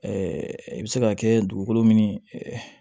i bɛ se ka kɛ dugukolo min